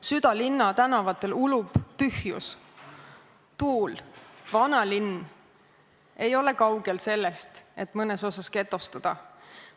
Südalinna tänavatel ulub tühjus, tuul, vanalinn ei ole kaugel sellest, et mõnes osas getostuda.